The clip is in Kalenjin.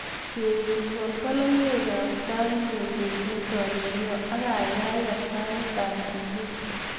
Chebet wal soloiwetab taitnyu koek netolelo ak kaikai ker taitab jikat